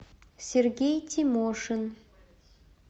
сергей тимошин